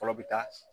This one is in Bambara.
Fɔlɔ bɛ taa